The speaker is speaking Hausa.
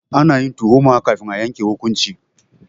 Ana yin tuhuma kafin a yanke hukunci.